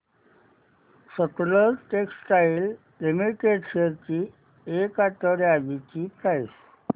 Sutlej textiles limited shares ची एक आठवड्या आधीची प्राइस